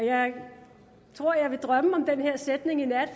jeg tror jeg vil drømme om den her sætning i nat